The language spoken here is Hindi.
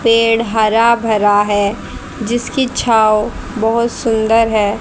पेड़ हरा भरा है जिसकी छांव बहोत सुंदर है।